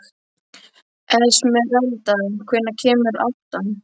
Esmeralda, hvenær kemur áttan?